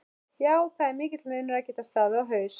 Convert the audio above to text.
Já það er mikill munur að geta staðið á haus